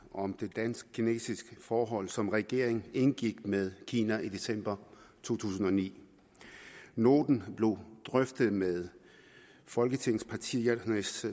om det dansk kinesiske forhold som regeringen indgik med kina i december to tusind og ni noten blev drøftet med folketingets partiers